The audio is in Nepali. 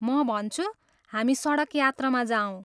म भन्छु, हामी सडक यात्रामा जाऔँ।